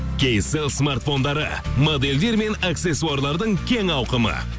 кейселл смартфондары модельдер мен аксессуарлардың кең ауқымы